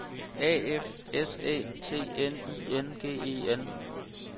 A F S Æ T N I N G E N